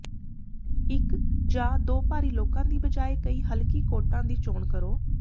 ਇੱਕ ਜਾਂ ਦੋ ਭਾਰੀ ਲੋਕਾਂ ਦੀ ਬਜਾਏ ਕਈ ਹਲਕੀ ਕੋਟਾਂ ਦੀ ਚੋਣ ਕਰੋ